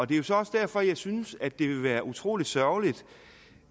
det er så også derfor jeg synes at det vil være utrolig sørgeligt